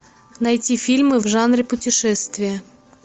найти фильмы в жанре путешествия